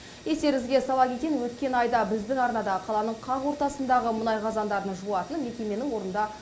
естеріңізге сала кетейін өткен айда біздің арнада қаланың қақ ортасындағы мұнай қазандарын жуатын мекеменің орнында